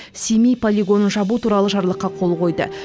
семей полигонын жабу туралы жарлыққа қол қойды